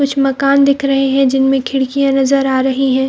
कुछ मकान दिख रहें हैं जिनमे खिड़कियाँ नजर आ रहीं हैं।